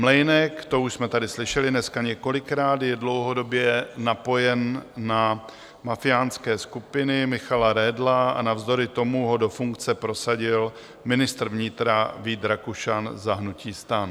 Mlejnek, to už jsme tady slyšeli dneska několikrát, je dlouhodobě napojen na mafiánské skupiny Michala Redla, a navzdory tomu ho do funkce prosadil ministr vnitra Vít Rakušan za hnutí STAN.